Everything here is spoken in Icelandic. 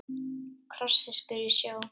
Krossfiskur í sjó.